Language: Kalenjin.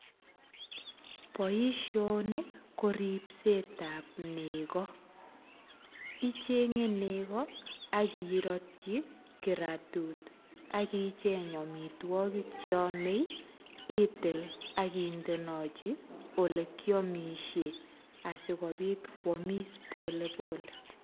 Boisioni ko ripsetab nego. Ichige nego ak iratyi kiratut ak icheng amitwogik che amei ak indenachi olekiamisie asigopit koamis polepole